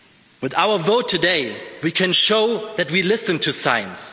With our vote today, we can show that we listen to science.